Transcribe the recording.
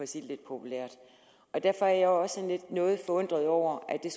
sige det lidt populært derfor er jeg også noget forundret over at det